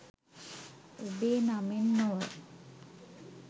ඔබේ නමෙන් නොව